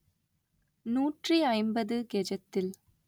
நூற்றி ஐம்பது கெஜத்தில்